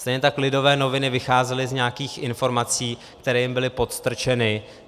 Stejně tak Lidové noviny vycházely z nějakých informací, které jim byly podstrčeny.